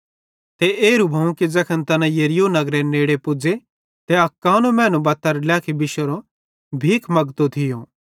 ते एरू भोवं कि ज़ैखन तैना यरीहो नगरेरे नेड़े पुज़्ज़े त अक कानो मैनू बत्तारे ड्लेखी बिशोरो भीख मगतो थियो